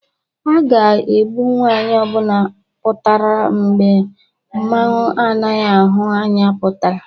A ga-egbu nwaanyị ọbụna pụatara mgbe mmanwụ anaghị ahụ anya pụtara